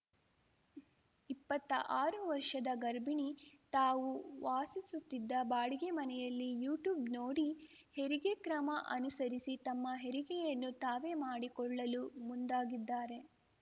ಇಪ್ಪತ್ತಾ ಆರು ವರ್ಷದ ಗರ್ಭಿಣಿ ತಾವು ವಾಸಿಸುತ್ತಿದ್ದ ಬಾಡಿಗೆ ಮನೆಯಲ್ಲಿ ಯು ಟ್ಯೂಬ್ ನೋಡಿ ಹೆರಿಗೆ ಕ್ರಮ ಅನುಸರಿಸಿ ತಮ್ಮ ಹೆರಿಗೆಯನ್ನು ತಾವೇ ಮಾಡಿಕೊಳ್ಳಲು ಮುಂದಾಗಿದ್ದಾರೆ